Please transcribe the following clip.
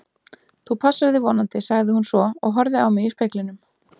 Þú passar þig vonandi, sagði hún svo og horfði á mig í speglinum.